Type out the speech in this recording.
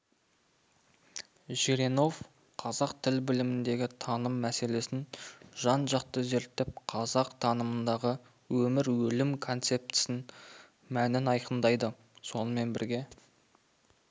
жиренов қазақ тіл біліміндегі таным мәселесін жан-жақты зерттеп қазақ танымындағы өмір-өлім концептісін мәнін айқындайды сонымен бірге